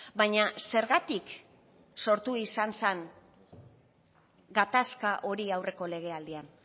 baina zergatik sortu izan zen gatazka hori aurreko legealdian